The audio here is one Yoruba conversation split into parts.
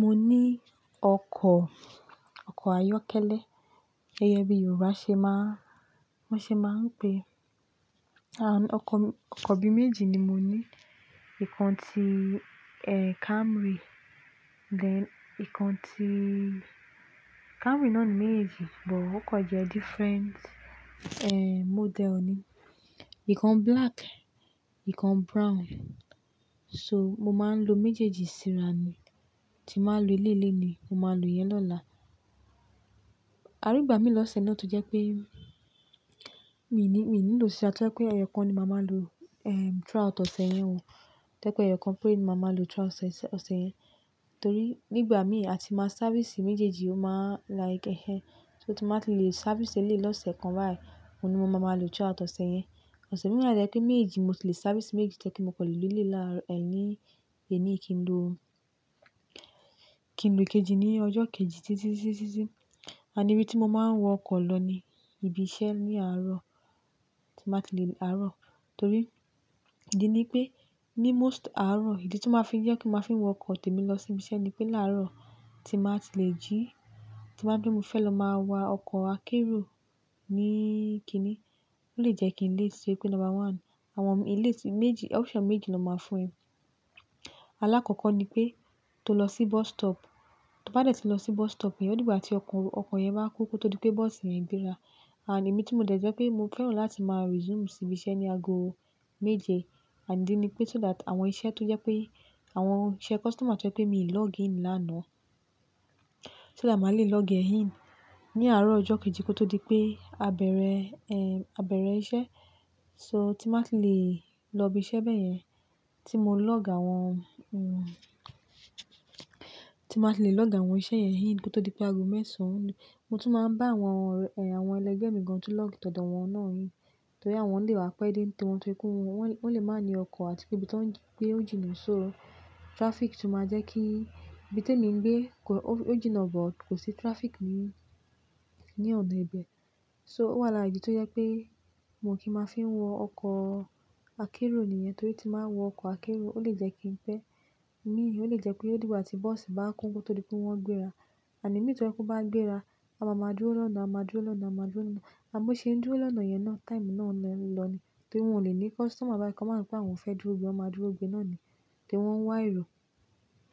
Mo ní ọkọ̀ ayọ́kẹ́lẹ́, gẹ́gẹ́ bí Yorùbá ṣe máa ń pè é an. Ọkọ̀ bí méjì ni mo ní. Ìkan ti Camry, then ìkan tí Camry náà ni méjì, bọ̀ okọ̀ jẹ́ different model ni. Ìkan black, ìkan brown. So, mo máa ń lò méjèèjì síra ni. Tí màá lò eléyi le nìyí, mo máa lò ìyẹn lọ́la. Àrígbà mí lọ́sẹ̀ náà tọ jẹ́ pé, mi ò nílò síra, tó jẹ pé ẹyẹ kan ni màá máa lò throughout ọ̀sẹ̀ yẹn o. Tó yẹ pé ẹyẹ kan pére ni màá máa lò throughout ọ̀sẹ̀ yẹn tó rí nígbà mí a ti máa sáfìsì méjèèjì ó máa like ẹ̀, so tí màá ti lè sáfìsì eléyìí lọ́sẹ̀ kan báyìí, òun ni mo máa máa lò throughout ọ̀sẹ̀ yẹn. Ọ̀sẹ̀ mìíràn wa tó yẹ pé méejì, mo ti lè sáfìsì méejì tó yẹ pé mo kọ́ lè lò eléyi láàárọ̀ ẹ́ ní kí n lò. Kí n lò ikejì ní ọjọ́ kejì, títí. Àní ibi tí mo máa ń wọ ọkọ̀ lọ ni ibi iṣẹ́ ní àárọ̀ tí màá ti lè àárọ̀. Torí, ìdí ni pé ní most àárọ̀, ìdí tí ó máa fi jẹ́ kí màá fi wọ ọkọ̀ tèmi lọ sí ibi iṣẹ́ ni pé láàárọ̀ tí màá ti lè jí, tí màá nipé mo fẹ́ lọ máa wọ ọkọ̀ akérò ní kíní, ó lè jẹ́ kí n late to rí pé number one. Àwọn mi, ìleti méjì, option méjì ni ó máa fún ẹ alákọ̀ọ́kọ́ ni pé tó lọ sí bus stop, tó bá dẹ̀ tí lọ sí bus stop yẹn, ó dígbà tí ọkọ̀ yẹn bá kún kó tó di pé bọ́ọ̀sì yẹn gbéra. Ànd èmi tí mo dẹ̀ jẹ́ pé mo fẹ́ràn láti máa resume sí ibi iṣẹ́ ní ago méje. Ànd idí ni pé so that àwọn iṣẹ́ tó jẹ́ pé àwọn iṣẹ́ customer tó jẹ́ pé mi ò login lánàá, so that máa lè log ẹ in ní àárọ̀ ọjọ́ kejì kó tó di pé ẹ abẹ̀rẹ̀ iṣẹ́. So tí màá ti lè lọ ibi iṣẹ́ bẹ́ẹ̀ yẹn, tí mo log àwọn tí n bá ti lè log àwọn iṣẹ́ yẹn in kó tó di pé ago mẹ́sàn-án lù. Mo tún máa ń bá àwọn ẹlẹgbẹ́ mi gan tún log tọdọ àwọn náà in. Torí àwọn lè wá pẹ́ dé ní tí wọn tó rí pé wọn lè máa ní ọkọ̀ àti pé ibi tó ń gbé ó jìnnà. So traffic tún máa jẹ́ kí ibi tí èmi ń gbé ó jìnnà, bọ̀ kò sí traffic ní, ni ọ̀nà ibẹ̀. So ó wà lárà idí tó jẹ́ pé mo kì í máa fi ń wọ ọkọ̀ akérò nìyẹn. Torí tí má wọ ọkọ̀ akérò ó lè jẹ́ kí n pẹ́. Imi ò lè jẹ́ pé ó dígbà tí bọ́ọ̀sì bá kún kó tó di pé wọ́n gbéra. Ànd imi tó yẹ kó bá gbéra, a máa máa dúró lọ́nà, a máa dúró lọ́nà, a máa dúró lọ́nà. Àbo ṣe ń dúró lọ́nà yẹn náà, táìmù náà ń lọ ni. Torí wọn ò lè ní customer báyi kọ́ ma so pé àwọn fẹ́ dúró gbé, wọ́n máa dúró gbé náà ni. Torí wọ́n ń wá ẹ̀rù.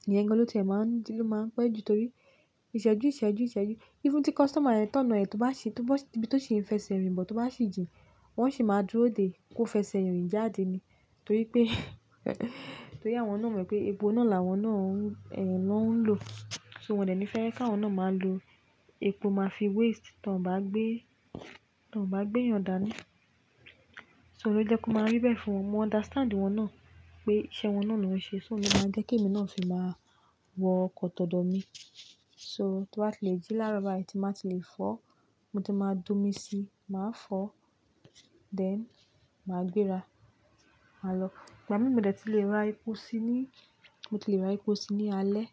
Ìyẹn gan lọ tí ẹ máa ń pẹ́ ju torí ìṣẹ́jú, ìṣẹ́jú, ìṣẹ́jú. Even tí customer yẹn tọ̀nà ẹ tó bá ṣe, tí ibi tó ṣe fẹsẹ rìn bọ̀ tó bá sì jìn, wọ́n sì máa dúró dé kó fẹsẹ rìn jáde ni. Torí pé àwọn náà mọ̀ pé epo náà làwọn náà ń lò. So wọ́n dẹ̀ ní fẹ́ kí àwọn náà máa lò epo máa fi waste tọ n bá gbé, tọ n bá gbé èyàn dà ni. So ló jẹ́ kó máa rí bẹ́ẹ̀ fún wọn. Mo understand wọn náà pé iṣẹ́ wọn náà ló ń ṣe. So ó jẹ́ máa jẹ́ kí èmi náà sì máa wọ ọkọ̀ tọdọ mi. So tó bá ti lè jí lárọ bá yi ti má ti lè fọ́, mo ti máa do mi sí, màá fọ́, then màá gbéra, má lọ. Ìgbà mí mo dẹ̀ tí lè ra epo sí ní, mo ti lè ra epo sí ni í alẹ́.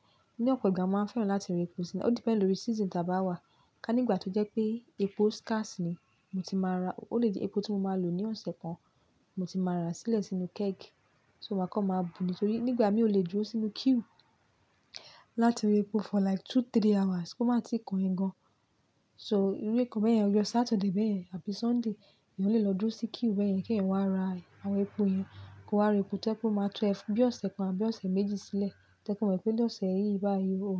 Ní ọ̀pọ̀ ìgbà máa ń fẹ́ràn láti ra epo sí ní. Ó depend lórí season tí a bá wà. Ka nígbà tó jẹ́ pé epo scarce ni, mo ti máa ra. Ó lè di epo tí mo máa lò ní ọ̀sẹ̀ kan, mo ti máa rà sílẹ̀ sínú keg. So máa kọ́ máa bu ni. Torí nígbà mí ò lè dúró sínú queue láti ra epo for like two, three hours kó má ti kan ẹ gan. So irú nǹkan bẹ́ẹ̀ yẹn, ọjọ́ Saturday bẹ́ẹ̀ yẹn àbí Sunday, èyàn lè lọ dúró sí queue bẹ́ẹ̀ yẹn kí èyàn wá ra àwọn epo yẹn. Kó wa ra epo tó jẹ pé ó máa tọ ẹ fún bí ọ̀sẹ̀ kan àbí ọ̀sẹ̀ méjì sílẹ̀. Tó yẹ pé ó mọ̀ pé lọ́sẹ̀ yìí báyìí o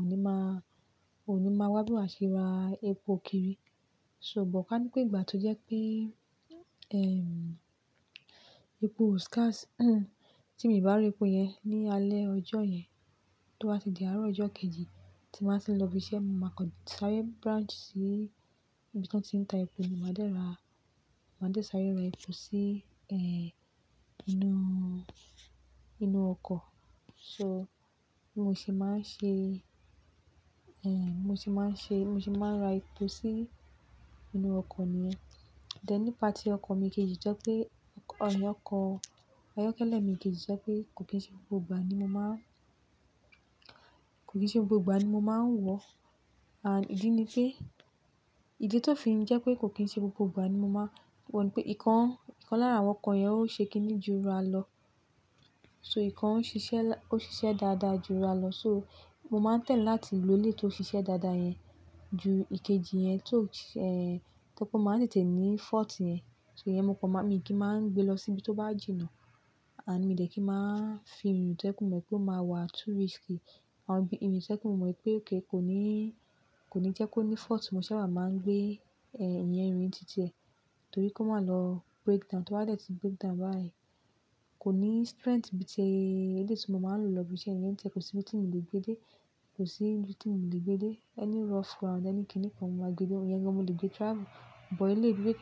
ò ní máa wá bi wa ṣe ra epo kiri. So bọ̀ ká ní pé ìgbà tó jẹ́ pé, ehm, epo oo scarce tí mìí bá ra epo yẹn ní alẹ́ ọjọ́ yẹn, tó bá ti di àárọ̀ ọjọ́ kejì tí màá ti lọ ibi iṣẹ́, mo máa kan sáré branch sí ibi tí wọ́n ti ń ta epo, mo máa dẹ̀ ra, mo máa dẹ̀ sáré ra epo sí inú ọkọ̀. So mo sì máa ń ṣe, bí mo ṣe máa ń ra epo sí inú ọkọ̀ nìyẹn. Then nípa tí ọkọ̀ mi kejì tó jẹ́ pé ọkọ̀ ayọ́kẹ́lẹ́ mi kejì tó jẹ́ pé kò kí n ṣe gbogbo ìgbà ni mo máa kò kí n ṣe gbogbo ìgbà ni mo máa ń wọ. Àní ìdí ni pé, ìdí tí ó fi ń jẹ́ pé kò kí n ṣe gbogbo ìgbà ni mo máa wọ ni pé ìkan lára àwọn ọkọ̀ yẹn ó ṣe kínní ju ra lọ. So ìkan ń ṣiṣẹ́ dáadáa ju ra lọ. So mo máa ń try láti lò ó lé tí ó ṣiṣẹ́ dáadáa yẹn ju ìkejì yẹn tó, tẹ́lẹ̀ pé ó máa ń tètè ní fault yẹn. So ìyẹn mo kọ má, mìí kì ma ń gbé lọ síbi tó bá jìnnà. Ànd mi dẹ́ kí máa fi èrò tó ẹ́ pé mọ̀ pé ó máa wà too risky. Àwọn ìrìn tó yẹ pé mọ̀ mọ̀ pé kò nii kò ní jẹ́ kó ní fault, mo sábà máa ń gbé iyẹn rìn títi ẹ. Torí kó má lọ breakdown. Tó bá dẹ̀ tí breakdown báyìí, kò ní strength bí ti eléyi tí mo máa ń lò lọ ibi iṣẹ́ yẹn tẹ́lẹ̀. Kò sí ibi tí mo lè gbé dé. Kò sí ibi tí mo lè gbé dé. Any rough ground, ẹni kini kan mo máa gbé lọ. Ìyẹn gan mo lè gbé travel. But eléyi bíi pe kí èyàn.